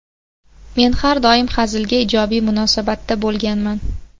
Men har doim hazilga ijobiy munosabatda bo‘lganman.